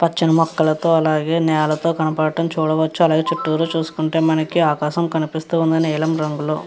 పచ్చని మొక్కలతో అలాగే నెలతో కనపడటం చూడవచ్చు. అలాగేన చుట్టూతా చూసుకుంటే మనకి ఆకాశం కనిపిస్తుంది నీలం రంగులో.